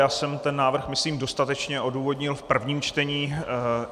Já jsem ten návrh myslím dostatečně odůvodnil v prvním čtení.